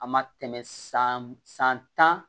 A ma tɛmɛ san san tan